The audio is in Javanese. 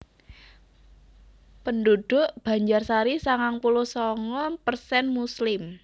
Penduduk Banjarsari sangang puluh sanga persen muslim